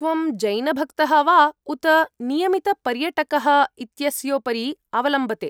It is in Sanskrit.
त्वं जैनभक्तः वा उत नियमितपर्यटकः इत्यस्योपरि अवलम्बते।